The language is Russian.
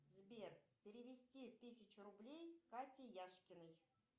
сбер перевести тысячу рублей кате яшкиной